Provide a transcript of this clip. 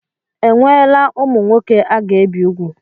Enweela ụmụ nwoke a ga-ebi ùgwù?